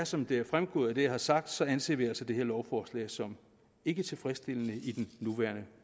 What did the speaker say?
som det er fremgået af det jeg har sagt anser vi altså det her lovforslag som ikke tilfredsstillende i den nuværende